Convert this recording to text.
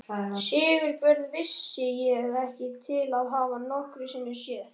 Sigurbjörn vissi ég ekki til að hafa nokkru sinni séð.